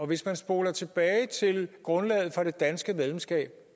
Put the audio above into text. hvis man spoler tilbage til grundlaget for det danske medlemskab